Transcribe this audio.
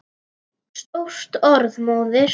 Stórt orð móðir!